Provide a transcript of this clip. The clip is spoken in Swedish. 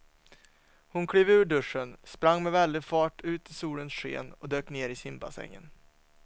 Hon klev ur duschen, sprang med väldig fart ut i solens sken och dök ner i simbassängen.